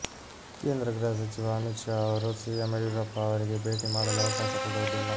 ಕೇಂದ್ರ ಗೃಹ ಸಚಿವ ಅಮಿತ್ ಶಾ ಅವರು ಸಿಎಂ ಯಡಿಯೂರಪ್ಪ ಅವರಿಗೆ ಭೇಟಿ ಮಾಡಲು ಅವಕಾಶ ಕೊಡುವುದಿಲ್ಲ